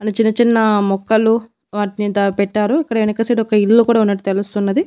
అని చిన్న చిన్న మొక్కలు వాటిని దా పెట్టారు ఇక్కడ ఎనక సైడు ఒక ఇల్లు కూడా ఉన్నట్టు తెలుస్తున్నది.